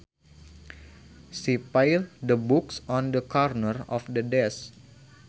She piled the books on the corner of the desk